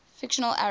fictional arabs